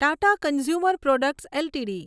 Tata consumer products LTD